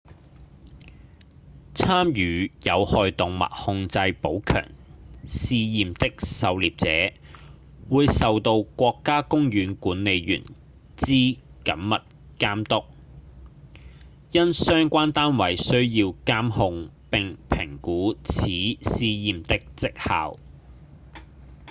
參與有害動物控制補強試驗的狩獵者會受到國家公園管理員之緊密監督因相關單位需要監控並評估此試驗的績效